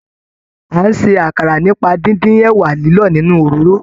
A n ṣe àkàrà nípa díndín ẹwà lilọ nínú òróró.